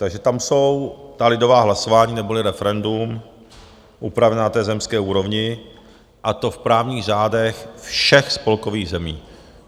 Takže tam jsou ta lidová hlasování neboli referendum upravena na té zemské úrovni, a to v právních řádech všech spolkových zemí.